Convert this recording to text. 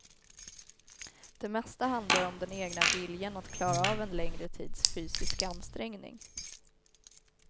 Det mesta handlar om den egna viljan att klara av en längre tids fysisk ansträngning.